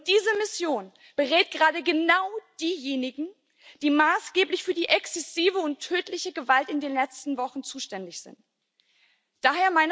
Diese Mission berät gerade genau diejenigen, die maßgeblich für die exzessive und tödliche Gewalt in den letzten Wochen verantwortlich sind.